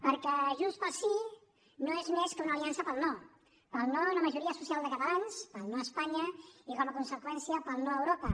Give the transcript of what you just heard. perquè junts pel sí no és més que una aliança per al no per al no a una majoria social de catalans per al no a espanya i com a conseqüència per al no a europa